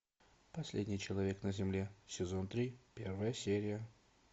последний человек на земле сезон три первая серия